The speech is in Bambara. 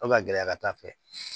Fo ka gɛlɛya ka taa fɛ